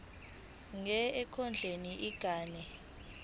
nje ekondleni ingane